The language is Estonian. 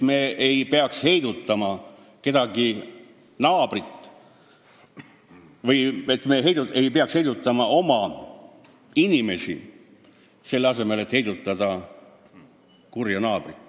Me ei peaks heidutama oma inimesi, selle asemel et heidutada kurja naabrit.